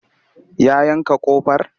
Ya yanka ƙofar?